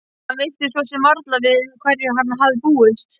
Hann vissi svo sem varla við hverju hann hafði búist.